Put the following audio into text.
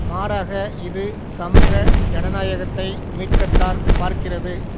மாறாக இது சமூக ஜனநாயகத்தை மீட்கத்தான் பார்க்கிறது